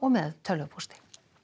með tölvupósti